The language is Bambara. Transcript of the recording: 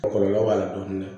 Kɔlɔlɔ b'a la dɔɔnin